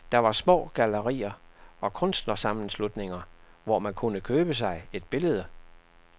Der var små gallerier og kunstnersammenslutninger, hvor man kunne købe sig et billede.